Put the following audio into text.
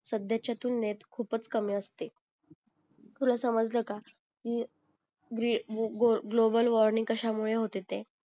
साध्येच्या तुलनेत खूपच कमी असते तुला समजलं का अं की ग्लो ग्लोबल वॉर्निंग कशामुळे होते ते